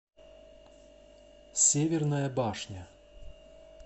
северная башня